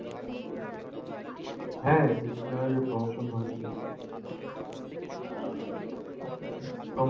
হ্যাঁ, কিছুদিন আগে promotion হয়েছে। promotion হলে তো